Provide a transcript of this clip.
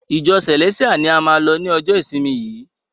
Ìjọ Celestial ni a máa lọ ni ọjọ ìsinmi yìí!